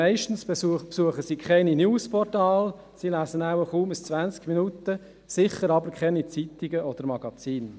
Meistens besuchen sie keine Newsportale, sie lesen kaum «20 Minuten» und mit Sicherheit keine Zeitungen oder Magazine.